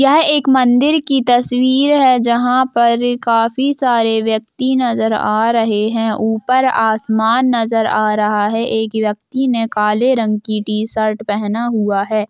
यह एक मंदिर की तस्वीर है जहां पर काफी सारे व्यक्ति नजर आ रहें हैं ऊपर आसमान नज़र आ रहा है एक व्यक्ति ने काले रंग की टीशर्ट पहना हुआ है।